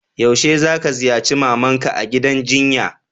Yaushe ka ziyace mama'n ka a'gidan jinya?